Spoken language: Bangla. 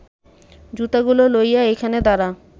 জুতাগুলা লইয়া এইখানে দাঁড়া